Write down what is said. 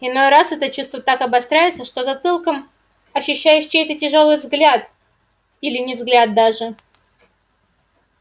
иной раз это чувство так обостряется что затылком ощущаешь чей-то тяжёлый взгляд или не взгляд даже